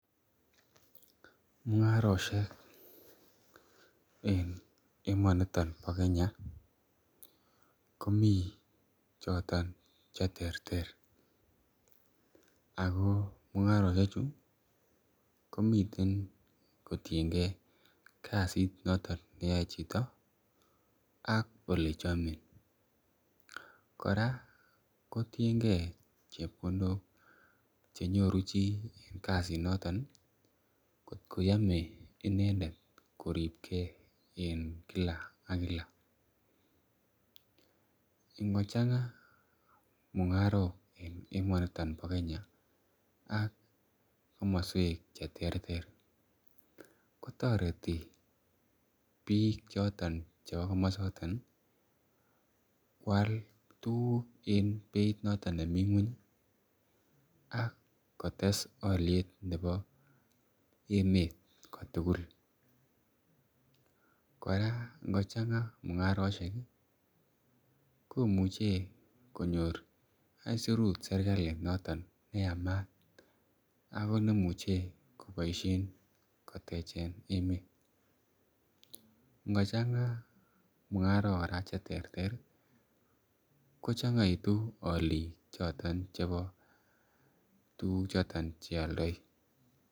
Mung'arosiek en emoni bo Kenya, komi cheterter Ako mung'arosiek chu , komiten kotienge kasit noton neyae chito ak ole chame kora kotienge chebkondok chenyoru chi, kasit noton ih , kot koyame koribke en Kila akila. Ingo chang'a mungarok en emoniton, ak komusiek cheterter kotareti bik chebo kasuek choton ih koal tuguk en beit noton nemi ng'uany ih, akotes aliet nebo emeet kotugul. Kora ingochang'a mung'arosiek ih komuche konyor aisurut serkali neyamaat ak negimuche kotechen emet. Ingochang'a mung'arok kora cheterter ih , kochangaitu alik chebo tuguk choton chealdai.